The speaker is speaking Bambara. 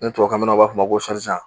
Ni tubabukan mɛnnaw b'a f'a ma ko